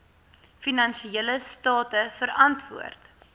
finansiële state verantwoord